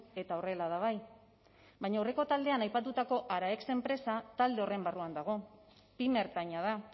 eta horrela da bai baina aurreko taldean aipatutako araex enpresa talde horren barruan dago pyme ertaina da